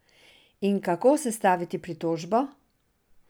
In kako sestaviti pritožbo?